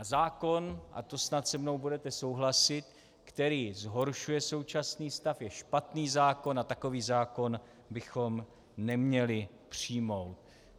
A zákon, a to snad se mnou budete souhlasit, který zhoršuje současný stav, je špatný zákon a takový zákon bychom neměli přijmout.